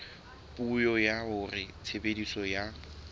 puo ya hore tshebediso ya